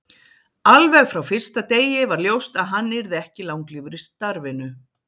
Alveg frá fyrsta degi var ljóst að hann yrði ekki langlífur í starfinu.